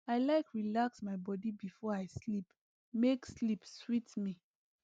i like relax my body before i sleep make sleep sweet me